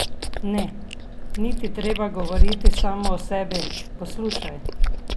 Ne, ni ti treba govoriti samo o sebi, poslušaj!